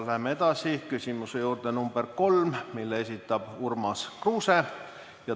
Läheme edasi küsimuse number 3 juurde, mille esitab Urmas Kruuse.